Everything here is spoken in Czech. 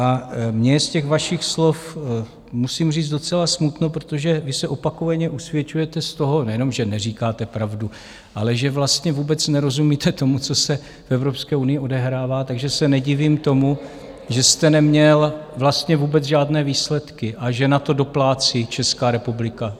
A mně je z těch vašich slov musím říct docela smutno, protože vy se opakovaně usvědčujete z toho, nejenom že neříkáte pravdu, ale že vlastně vůbec nerozumíte tomu, co se v Evropské unii odehrává, takže se nedivím tomu, že jste neměl vlastně vůbec žádné výsledky a že na to doplácí Česká republika.